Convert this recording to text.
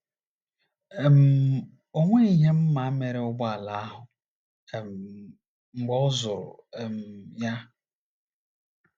um O nweghị ihe m ma mere ụgbọala ahụ um mgbe ọ zụrụ um ya.